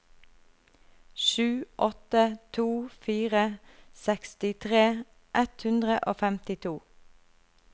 sju åtte to fire sekstitre ett hundre og femtito